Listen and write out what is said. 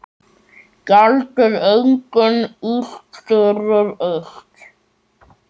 Gjaldið engum illt fyrir illt.